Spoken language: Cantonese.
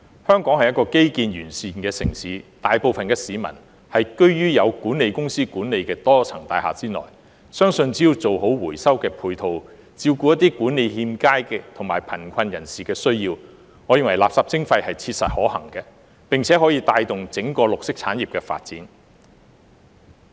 香港是一個基建完善的城市，大部分市民居於有管理公司管理的多層大廈內，相信只要做好回收的配套，照顧一些管理欠佳的地方和貧窮人士的需要，我認為垃圾徵費是切實可行的，並且可以帶動整個綠色產業的發展。